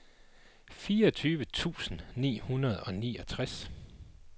fireogtyve tusind ni hundrede og niogtres